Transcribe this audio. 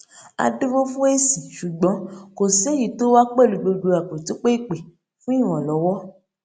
a dúró fún èsì ṣùgbọn kò sí èyí tó wá pẹlú gbogbo àpètúnpè ìpè fún ìrànlọwọ